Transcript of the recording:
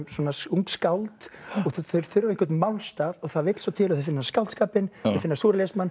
ung skáld og þau þurfa einhvern málstað og það vill svo til að þau finna skáldskapinn þau finna